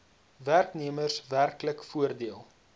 werknemers werklike voordeel